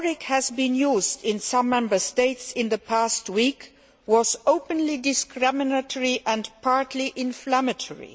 rhetoric that has been used in some Member States in the past weeks has been openly discriminatory and partly inflammatory.